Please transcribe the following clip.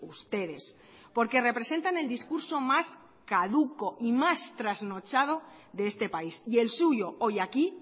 ustedes porque representan el discurso más caduco y más trasnochado de este país y el suyo hoy aquí